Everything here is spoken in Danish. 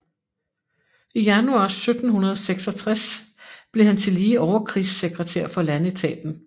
I januar 1766 blev han tillige overkrigssekretær for landetaten